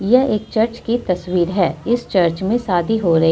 यह एक चर्च की तस्वीर है इस चर्च में शादी हो रही--